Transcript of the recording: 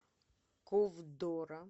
ковдора